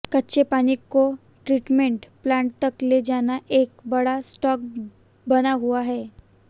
कच्चे पानी को ट्रीटमेंट प्लांट तक ले जाना एक बड़ा टॉस्क बना हुआ है